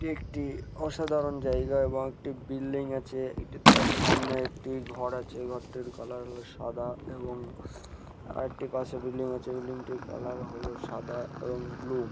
একটি অসাধারণ জায়গা এবং একটি বিল্ডিং আছে এটি তার সামনে একটি ঘর আছে ঘরটির কালার হলো সাদা এবং আরেকটি পাশে বিল্ডিং আছে বিল্ডিং -টির কালার হলো সাদা এবং ব্লু ।